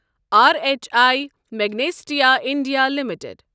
R H W Magnesita India limited